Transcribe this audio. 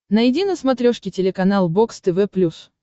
найди на смотрешке телеканал бокс тв плюс